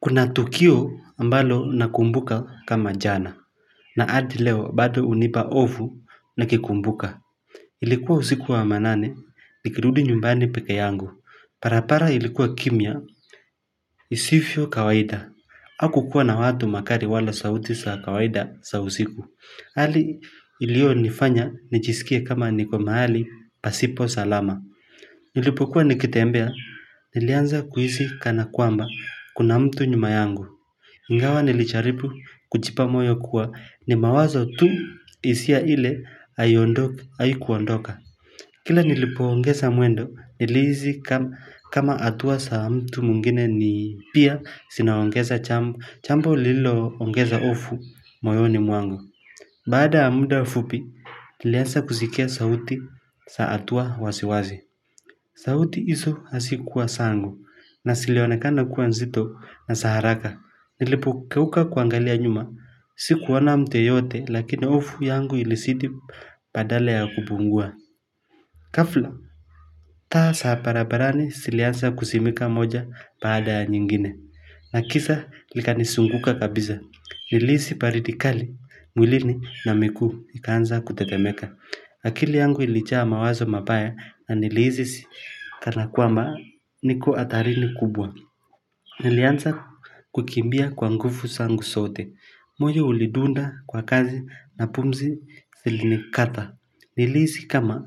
Kuna tukio ambalo nakumbuka kama jana, na adi leo bado unipa hofu nikikumbuka. Ilikuwa usiku wa manane, nikirudi nyumbani pekee yangu. Barabara ilikuwa kimya, isivyo kawaida. Hakukuwa na watu, magari wala sauti za kawaida za usiku. Hali ilionifanya, nijisikie kama niko mahali, pasipo salama. Nilipokuwa nikitembea, nilianza kuhisi kana kwamba, kuna mtu nyuma yangu. Ingawa nilijaribu kujipa moyo kuwa ni mawazo tu hisia ile haikuondoka. Kila nilipoongeza mwendo nilihisi kama atua za mtu mwingine ni pia zinaongeza jambo lililongeza ofu moyoni mwangu. Baada ya mda fupi nilianza kusikia sauti za hatua wasiwasi. Sauti hizo hazikuwa zangu na zilionekana kuwa nzito na za haraka. Nilipogeuka kuangalia nyuma, sikuona mtu yeyote lakini hofu yangu ilizidi badala ya kupungua ghafla, taa za barabarani zilianza kuzimika moja baada ya nyingine na giza ikanizunguka kabisa. Nilihisi baridi kali mwilini na miguu ikanza kutetemeka akili yangu ilijaa mawazo mabaya na nilihisi kana kwamba niko hatarini kubwa Nilianza kukimbia kwa nguvu zangu sote moyo ulidunda kwa kasi na pumzi zilinikata Nilihisi kama ni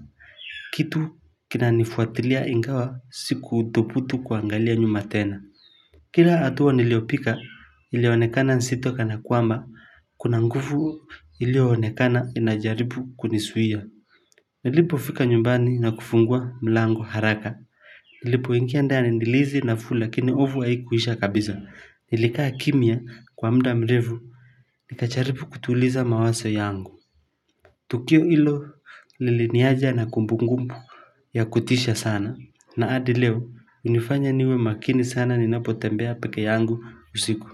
kitu kinanifuatilia ingawa sikudhubutu kuangalia nyuma tena Kila atua niliopiga ilionekana nzito kana kwamba Kuna nguvu ilionekana inajaribu kunizuia Nilipofika nyumbani na kufungua mlango haraka Nilipoingia ndani nilihisi nafuu lakini hofu haiikuisha kabisa Nilikaa kimya kwa mda mrefu nikajaribu kutuliza mawazo yangu Tukio ilo liliniacha na kumbukumbu ya kutisha sana na hadi leo unifanya niwe makini sana ninapotembea pekee yangu usiku.